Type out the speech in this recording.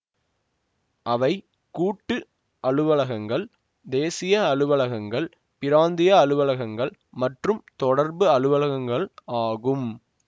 அவை கூட்டு அலுவலகங்கள் தேசிய அலுவலகங்கள் பிராந்திய அலுவலகங்கள் மற்றும் தொடர்பு அலுவலகங்கள் ஆகும்